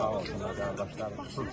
Sağ olsun qardaşlarımız.